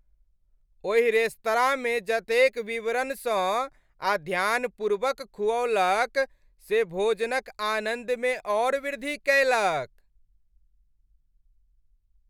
ओहि रेस्तरांमे जतेक विवरण सँ आ ध्यानपूर्वक खुऔलक से भोजन क आनन्द मे औऱ वृद्धि कएलक ।